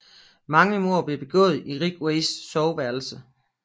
Mange mord blev begået i Ridgways soveværelse